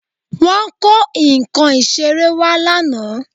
Wọ́n kó nǹkan ìṣeré wá lánàá